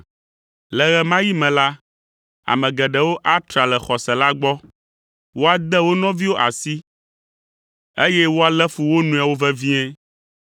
Le ɣe ma ɣi me la, ame geɖewo atra le xɔse la gbɔ, woade wo nɔviwo asi, eye woalé fu wo nɔewo vevie.